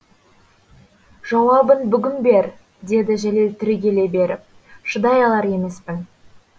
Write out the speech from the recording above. жауабын бүгін бер деді жәлел түрегеле беріп шыдай алар емеспін